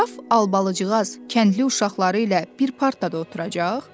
Qraf Albalıcığaz kəndli uşaqları ilə bir partada oturacaq?